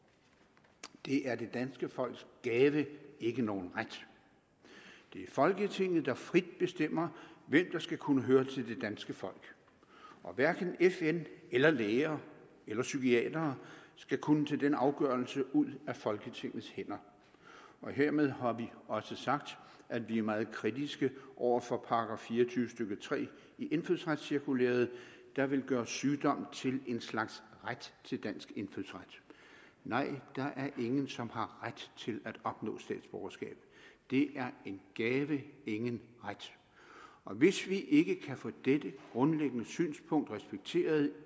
det er det danske folks gave ikke nogen ret det er folketinget der frit bestemmer hvem der skal kunne høre til det danske folk og hverken fn eller læger eller psykiatere skal kunne tage den afgørelse ud af folketingets hænder hermed har vi også sagt at vi er meget kritiske over for § fire og tyve stykke tre i indfødsretscirkulæret der vil gøre sygdom til en slags ret til dansk indfødsret nej der er ingen som har ret til at opnå statsborgerskab det er en gave ingen ret og hvis vi ikke kan få dette grundlæggende synspunkt respekteret